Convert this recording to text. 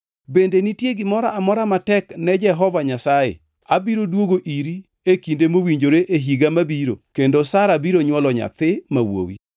Bende nitie gimoro amora matek ne Jehova Nyasaye? Abiro duogo iri e kinde mowinjore e higa mabiro kendo Sara biro nywolo nyathi ma wuowi.”